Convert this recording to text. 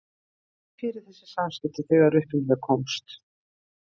En svo var tekið fyrir þessi samskipti þegar upp um þau komst.